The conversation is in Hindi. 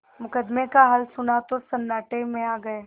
मुकदमे का हाल सुना तो सन्नाटे में आ गये